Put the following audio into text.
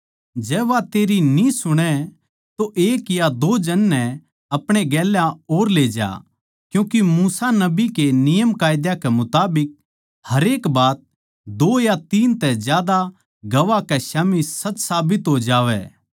जै वो तेरी न्ही सुणै तो एक या दो जन नै अपणे गेल्या और ले जा क्यूँके मूसा नबी के नियमकायदा के मुताबिक हरेक बात दो या तीन तै ज्यादा गवाह के स्याम्ही सच साबित हो जावै